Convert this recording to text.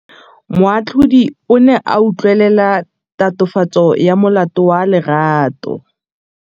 Moatlhodi o ne a utlwelela tatofatsô ya molato wa Lerato.